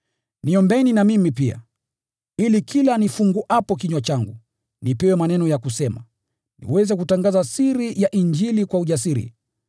Niombeeni na mimi pia, ili kila nifunguapo kinywa changu, nipewe maneno ya kusema, niweze kutangaza siri ya Injili kwa ujasiri,